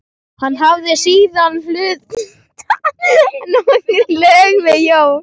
Hann hafði síðan hlustað á nokkur lög með John